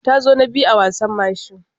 Ta zo na biyu a wasan mashi.